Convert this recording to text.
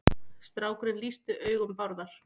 Strákurinn lýsti augum Bárðar.